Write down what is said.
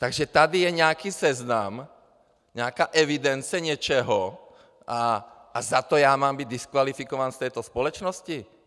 Takže tady je nějaký seznam, nějaká evidence něčeho a za to já mám být diskvalifikován z této společnosti?